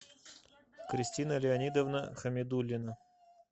кристина леонидовна хамидуллина